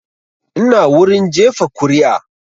Ina wurin jefa kuri'a